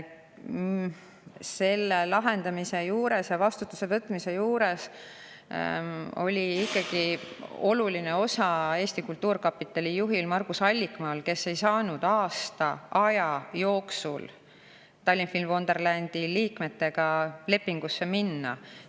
Selle lahendamise juures ja vastutuse võtmise juures oli ikkagi oluline osa Eesti Kultuurkapitali juhil Margus Allikmaal, kes ei saanud aasta jooksul Tallinn Film Wonderlandi liikmetega lepingusse minna.